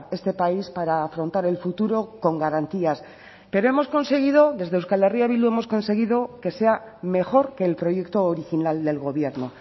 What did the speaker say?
este país para afrontar el futuro con garantías pero hemos conseguido desde euskal herria bildu hemos conseguido que sea mejor que el proyecto original del gobierno